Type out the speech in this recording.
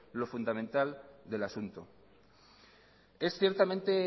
lo fundamental del asunto es ciertamente